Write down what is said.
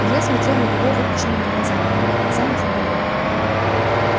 илья смотрел на него выпученными глазами пока глаза не заболели